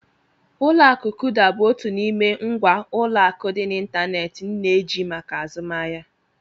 Ụlọ akụ Kuda bụ otu n'ime ngwa ụlọ akụ dị n'ịntanetị m na-eji maka azụmahịa.